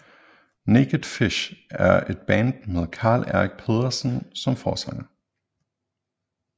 Naked Fish er et band med Karl Erik Pedersen som forsanger